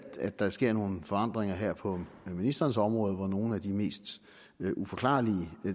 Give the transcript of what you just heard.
at der sker nogle forandringer her på ministrenes område hvor nogle af de mest uforklarlige